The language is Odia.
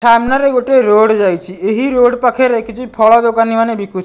ସାମ୍ନା ରେ ଗୋଟେ ରୋଡ଼ ଯାଇଛି। ଏହି ରୋଡ଼ ପାଖେରେ କିଛି ଫଳ ଦୋକାନୀ ମାନେ ବିକୁ --